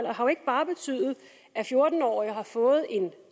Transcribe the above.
har jo ikke bare betydet at fjorten årige har fået en